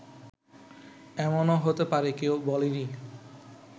এমনও হতে পারে কেউ বলেনি